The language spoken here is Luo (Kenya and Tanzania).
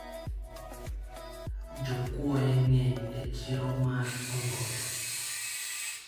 jokuoye ngeny e chiro mar omboto